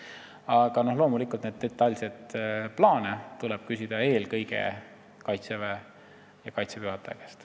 Aga loomulikult tuleb detailsete plaanide kohta küsida eelkõige Kaitseväe juhataja käest.